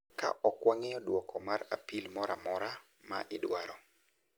Ka ok wang'iyo duoko mar apil moro amora ma idwaro,